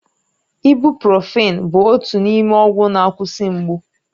Ibụ́profị́n bụ otu n'ime ọgwụ na-akwụsị mgbu.